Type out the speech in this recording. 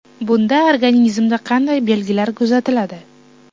Bunda organizmda qanday belgilar kuzatiladi?